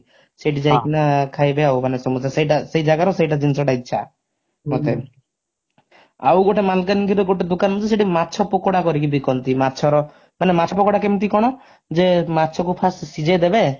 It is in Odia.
ସେଇଠି ଯାଇକିନା ଖାଇବେ ଆଉ ମାନେ ସମସ୍ତେ ସେଟା ସେଇ ଜାଗାର ସେଟା ଜିନିଷଟା ଇଛା ମତେ ଆଉ ଗୋଟେ ମାଲକାନଗିରି ରେ ଗୋଟେ ଦୋକାନ ଅଛି ସେଇଠି ମାଛ ପକୋଡା କରିକି ବିକନ୍ତି ମାଛର ମାନେ ମାଛ ପକୋଡା କେମିତି କଣ ଯେ ମାଛ କୁ first ସିଜେଇଦେବେ